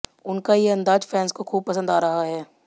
उनका ये अंदाज फैंस को खूब पसंद आ रहा है